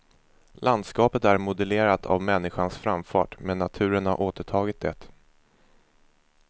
Landskapet är modellerat av människans framfart men naturen har återtagit det.